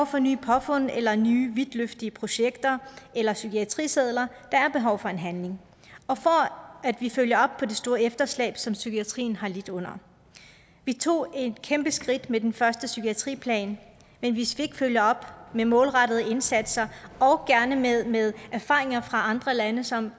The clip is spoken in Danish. for nye påfund eller nye vidtløftige projekter eller psykiatrisedler der er behov for handling og at vi følger op på det store efterslæb som psykiatrien har lidt under vi tog et kæmpe skridt med den første psykiatriplan men hvis vi ikke følger den op med målrettede indsatser og gerne med med erfaringer fra andre lande som